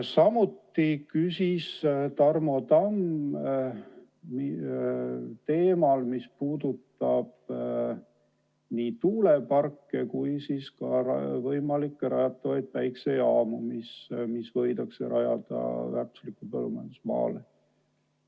Tarmo Tamm küsis ka teemal, mis puudutab nii tuuleparke kui võimalikke rajatavaid päikesejaamu, mis võidakse rajada väärtuslikule põllumajandusmaale.